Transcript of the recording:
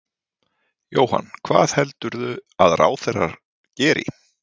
Jóhann: Hvað heldurðu að ráðherrar geri?